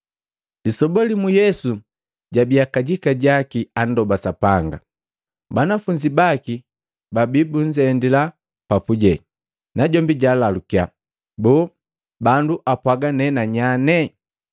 Lisoba limu Yesu jabiya kajika jaki andoba Sapanga. Banafunzi baki babi bunzendila pajubii, najombi jaalalukiya, “Boo bandu apwaga ne nanyane?”